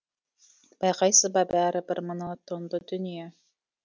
байқайсыз ба бәрі бір монотонды дүние